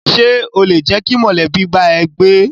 Ṣé o lè jẹ́ kí mọ̀lẹ́bí bá ẹ gbé?